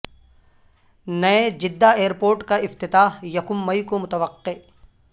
نئے Jeddah airport کا افتتاح یکم مئی کو متوقع